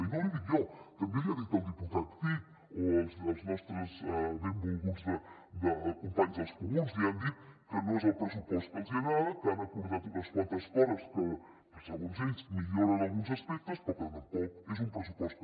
i no l’hi dic jo també l’hi ha dit el diputat cid o els nostres benvolguts companys dels comuns li han dit que no és el pressupost que els agrada que han acordat unes quantes coses que segons ells en milloren alguns aspectes però que tampoc és un pressupost que